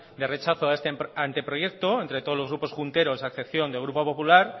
de rechazo a este anteproyecto entre todos los grupos junteros a excepción del grupo popular